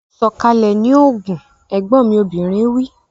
Sọ̀kalẹ̀ ní Ogun! Ẹ̀gbọ́n mi obìnrin wí.